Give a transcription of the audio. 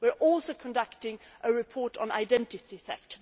We are also conducting a report on identity theft